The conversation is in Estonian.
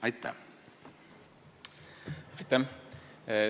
Aitäh!